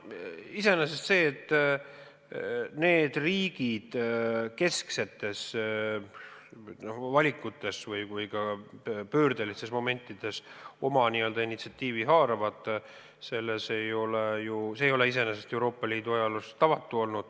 Iseenesest see, et need riigid kesksetes valikutes ja ka pöördelistel momentidel initsiatiivi haaravad, ei ole Euroopa Liidu ajaloos tavatu.